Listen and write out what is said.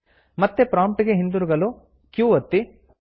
ಮತ್ತೆ ಪ್ರಾಂಪ್ಟ್ ಗೆ ಹಿಂತಿರುಗಲು q ಒತ್ತಿ